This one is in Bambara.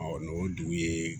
n'o dugu ye